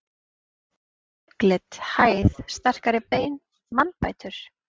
Hvað með augnlit, hæð, sterkari bein, mannbætur?